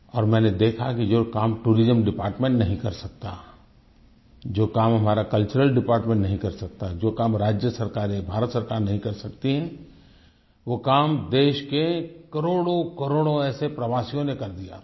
और मैंने देखा कि जो काम टूरिज्म डिपार्टमेंट नहीं कर सकता जो काम हमारा कल्चरल डिपार्टमेंट नहीं कर सकता जो काम राज्य सरकारें भारत सरकार नहीं कर सकतीं वो काम देश के करोड़ोंकरोड़ों ऐसे प्रवासियों ने कर दिया था